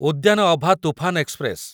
ଉଦ୍ୟାନ ଅଭା ତୁଫାନ ଏକ୍ସପ୍ରେସ